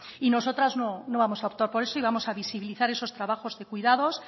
nosotras no vamos a optar por eso y vamos a visibilizar esos trabajos de cuidados